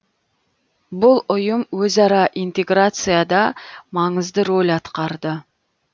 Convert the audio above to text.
бұл ұйым өзара интеграцияда маңызды рөл атқарды